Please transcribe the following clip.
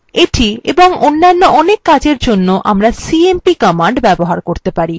এটি এবং অন্যান্য অনেক কাজের জন্য আমরা cmp command ব্যবহার করতে পারি